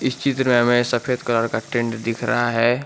इस चित्र में हमें सफेद कलर का टेंट दिख रहा है।